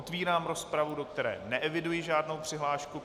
Otevírám rozpravu, do které neeviduji žádnou přihlášku.